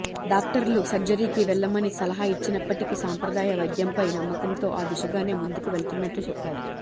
డాక్టర్లు సర్జరీకీ వెళ్లమని సలహా ఇచ్చినప్పటికీ సంప్రదాయ వైద్యంపై నమ్మకంతో ఆ దిశగానే ముందుకు వెళ్తున్నట్లు చెప్పారు